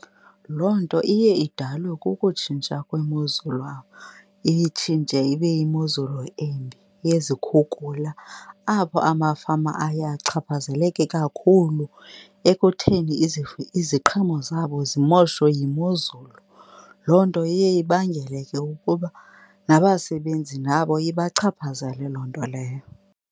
Loo nto iye idalwe kukutshintsha kwemozulu , iye itshintshe ibe yimozulu embi yezikhukula apho amafama aye achaphazeleke kakhulu ekutheni iziqhamo zabo zimoshwe yimozulu. Loo nto iye ibangele ke ukuba nabasebenzi nabo ibachaphazale loo nto leyo.